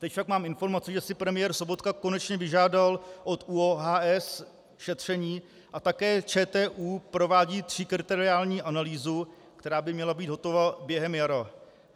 Teď však mám informaci, že si premiér Sobotka konečně vyžádal od ÚOHS šetření a také ČTÚ provádí tříkriteriální analýzu, která by měla být hotova během jara.